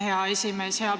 Hea esimees!